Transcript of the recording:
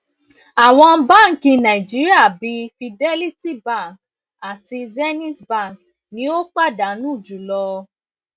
àwọn báńkì nàìjíríà bíi fidelity bank àti zenith bank ni ó pàdánù jùlọ